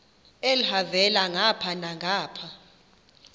elhavela ngapha nangapha